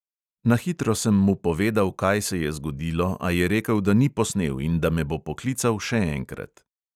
Na hitro sem mu povedal, kaj se je zgodilo, a je rekel, da ni posnel in da me bo poklical še enkrat.